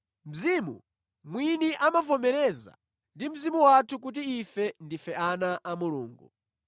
Mzimu mwini amavomerezana ndi mzimu wathu kuti ife ndife ana a Mulungu.